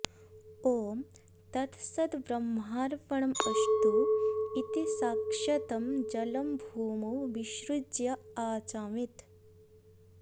ॐ तत्सद्ब्रह्मार्पणमस्तु इति साक्षतं जलं भूमौ विसृज्य आचामेत्